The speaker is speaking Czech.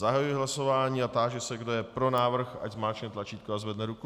Zahajuji hlasování a táži se, kdo je pro návrh, ať zmáčkne tlačítko a zvedne ruku.